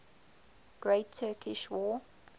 great turkish war